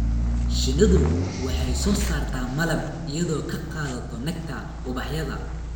Shinnidu waxay soo saartaa malab iyadoo ka qaadata nectar ubaxyada.